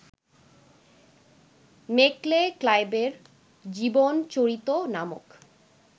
Macaulay ক্লাইবের জীবনচরিত নামক